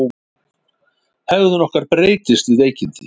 Hegðun okkar breytist við veikindi.